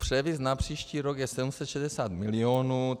Převis na příští rok je 760 mil.